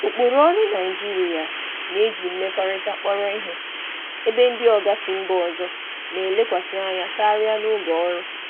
Ụkpụrụ ọrụ Naịjirịa na-eji mmekọrịta kpọrọ ihe, ebe ndị oga si mba ọzọ na-elekwasị anya karịa na oge ọrụ.